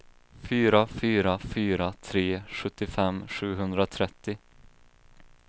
fyra fyra fyra tre sjuttiofem sjuhundratrettio